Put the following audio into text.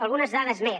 algunes dades més